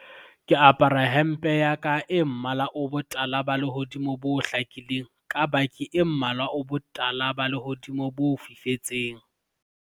ke apara hempe ya ka e mmala o botala ba lehodimo bo hlakileng ka baki e mmala o botala ba lehodimo bo fifetseng